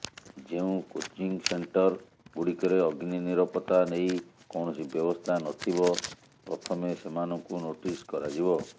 ଯେଉଁ coaching centre ଗୁଡିକରେ ଅଗ୍ନି ନିରପତ୍ତା ନେଇ କୌଣସି ବ୍ୟବସ୍ଥା ନଥିବ ପ୍ରଥମେ ସେମାନଙ୍କୁ ନୋଟିସ କରାଯିବ